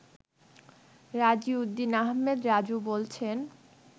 রাজিউদ্দিন আহমেদ রাজু বলছেন